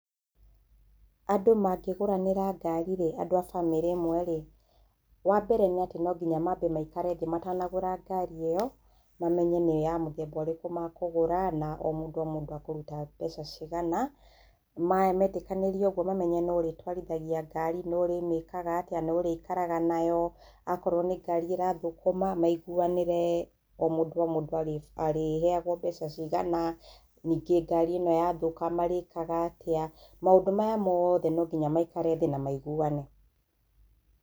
Andũ mangĩgũranĩra ngari rĩ andũ a bamĩrĩ ĩmwe rĩ, wa mbere nĩ atĩ no nginya mambe maikare thĩ matanagũra ngari ĩyo mamenye nĩ ya mũthemba ũrĩkũ makũgũra na o mũndũ o mũndũ akũruta mbeca cigana, metĩkanĩria ũguo mamenye nũ ũrĩtwarithagia ngari nũ ũrĩmĩkaga atĩa, nũ ũrikaraga nayo, akorwo nĩ ngari ĩrathũkũma, maiguanĩre o mũndũ o mũndũ arĩ heagwo mbeca cigana, ningĩ ngari ĩno ya thũka marĩkaga atĩa maũndũ maya mothe no nginya maikare thĩ na maiguane.